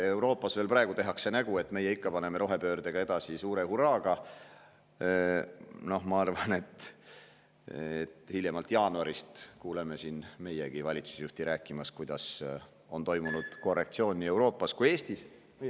Euroopas tehakse praegu veel nägu, et meie paneme rohepöördega edasi suure hurraaga, aga ma arvan, et hiljemalt jaanuaris me kuuleme ka meie valitsusjuhti rääkimas, et on toimunud korrektsioon nii Eestis kui ka Euroopas.